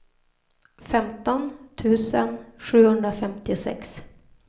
femton tusen sjuhundrafemtiosex